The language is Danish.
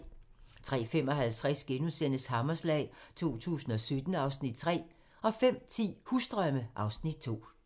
03:55: Hammerslag 2017 (Afs. 3)* 05:10: Husdrømme (Afs. 2)